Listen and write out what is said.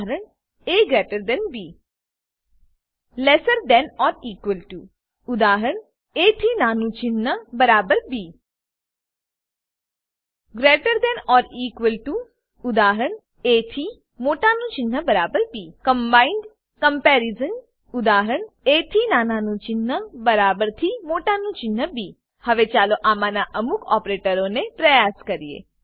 A B lesser than or equal to lesser than or equal to ઉદાa થી નાનાનું ચિન્હ બરાબર B greater than or equal to greater than or equal to ઉદાa થી મોટાનું ચિન્હ બરાબર B combined comparison combined comparison ઉદાa થી નાનાનું ચિન્હ બરાબર થી મોટાનું ચિન્હ બી હવે ચાલો આમાંના અમુક ઓપેરેટરોને પ્રયાસ કરીએ